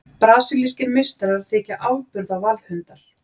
Brasilískir meistarar þykja afburða varðhundar.